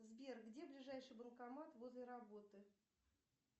сбер где ближайший банкомат возле работы